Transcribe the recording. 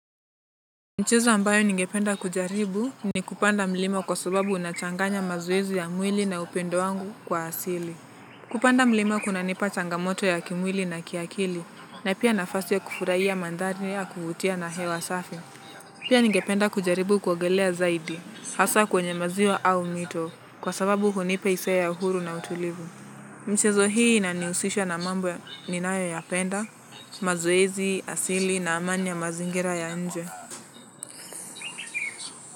Michezo ambayo ningependa kujaribu ni kupanda mlima kwa sababu nachanganya mazoezi ya mwili na upendo wangu kwa asili. Kupanda mlima kuna nipa changamoto ya kimwili na kiakili, na pia nafasi ya kufurahiya mandhari ya kuvutia na hewa safi. Pia ningependa kujaribu kuogelea zaidi, hasa kwenye maziwa au mito, kwa sababu hunipa hisia ya uhuru na utulivu. Michezo hii inanihusisha na mambo ninayo ya penda, mazoezi, asili na amani ya mazingira ya nje.